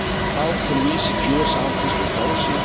How can we secure sound fiscal policy?